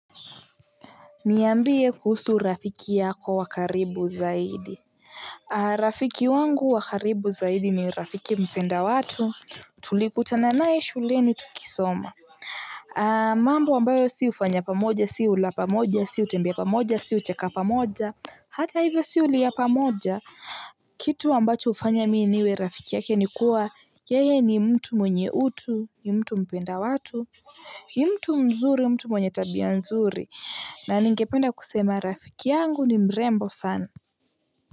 Niambie kuhusu rafiki yako wa karibu zaidi. Rafiki wangu wa karibu zaidi ni rafiki mpenda watu. Tulikutana naye shuleni tukisoma. Mambo ambayo si hufanya pamoja si ula pamoja si hutembea pamoja si hucheka pamoja, hata hivyo si hulia pamoja. Kitu ambacho hufanya mimi niwe rafiki yake ni kuwa yeye ni mtu mwenye utu, ni mtu mpenda watu, ni mtu mzuri, mtu mwenye tabia nzuri, na ningependa kusema rafiki yangu ni mrembo sana.